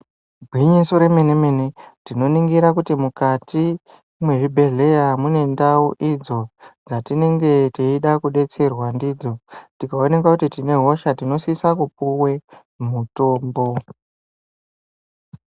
Gwinyiso remene mene , tiinoningira kuti mukati mwezvi bhehlera mune ndau idzo dzatinengeteida kudetserwa ndidzo. Tikaoneka kuti tinehosha tinosisa kupuwe mutombo.